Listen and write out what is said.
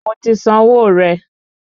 Mo ti san owó rẹ